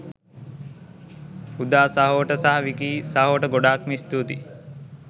උදා සහෝට සහ විකී සහෝට ගොඩාක්ම ස්තුතියි